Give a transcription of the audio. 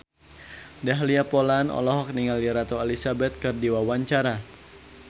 Dahlia Poland olohok ningali Ratu Elizabeth keur diwawancara